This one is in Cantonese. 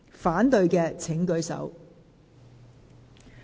反對的請舉手。